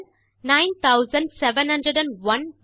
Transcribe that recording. total 970104